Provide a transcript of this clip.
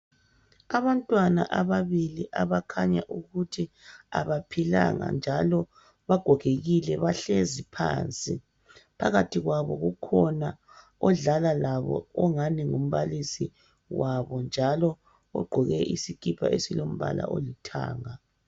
Abantwana ababili abakhanya ukuthi abaphilanga njalo bagogekile bahlezi phansi phakathi kwabo kukhona odlala labo angathi ngumbalisi wabo njalo ugqoke isikipa esilombala olithanga